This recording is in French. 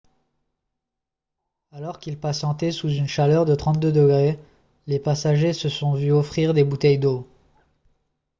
alors qu'ils patientaient sous une chaleur de 32 ° c les passagers se sont vu offrir des bouteilles d'eau